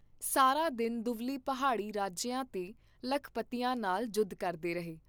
ਸਾਰਾ ਦਿਨ ਦੁਵੱਲੀ ਪਹਾੜੀ ਰਾਜਿਆਂ ਤੇ ਲਖਪਤੀਆਂ ਨਾਲ ਜੁੱਧ ਕਰਦੇ ਰਹੇ।